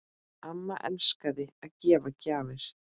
Amma elskaði að gefa gjafir.